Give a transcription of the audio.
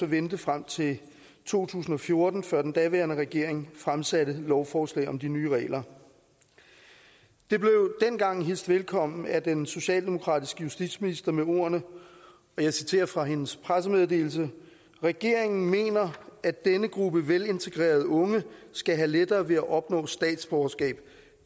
vente frem til to tusind og fjorten før den daværende regering fremsatte lovforslag om de nye regler det blev dengang hilst velkommen af den socialdemokratiske justitsminister med ordene og jeg citerer fra hendes pressemeddelelse regeringen mener at denne gruppe velintegrerede unge skal have lettere ved at opnå statsborgerskab